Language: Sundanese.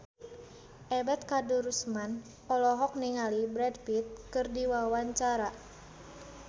Ebet Kadarusman olohok ningali Brad Pitt keur diwawancara